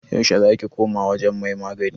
yaushe za ki koma wajen mai magani?